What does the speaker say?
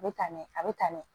A bɛ taa ɲɛ a bɛ tan